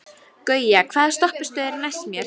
Gauja, hvaða stoppistöð er næst mér?